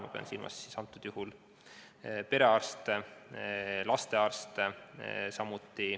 Ma pean antud juhul silmas perearste, lastearste.